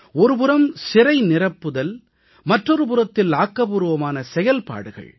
ஒருபுறம் சிறைநிரப்புதல் மற்றொரு புறத்தில் ஆக்கபூர்வமான செயல்கள்